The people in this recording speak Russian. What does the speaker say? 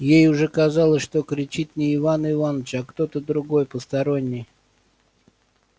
ей уже казалось что кричит не иван иваныч а кто-то другой посторонний